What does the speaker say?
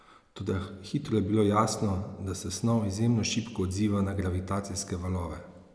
Toda hitro je bilo jasno, da se snov izjemno šibko odziva na gravitacijske valove.